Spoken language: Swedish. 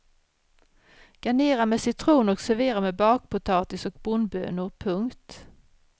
Garnera med citron och servera med bakpotatis och bondbönor. punkt